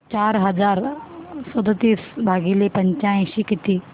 चार हजार सदतीस भागिले पंच्याऐंशी किती